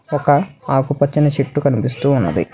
ఒక ఆకుపచ్చని చెట్టు కనిపిస్తూ ఉన్నది.